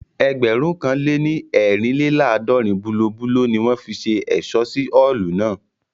Ẹgbẹ̀rún kan lè ní eerinlelaadọrin bulobulo ni wọ́n fi ṣe ẹ̀ṣọ́ sí Ọ́ọ̀lù náà